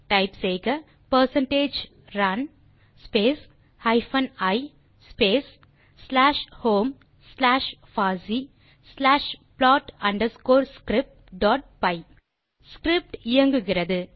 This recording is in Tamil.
டைப் செய்க percentage run space hyphen e space slash home slash பாசி slash plot underscore script dot py script இயங்குகிறது